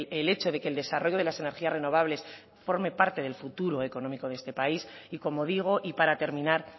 el hecho de que el desarrollo de las energías renovables forme parte del futuro económico de este país y como digo y para terminar